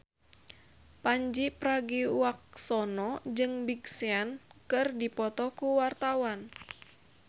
Pandji Pragiwaksono jeung Big Sean keur dipoto ku wartawan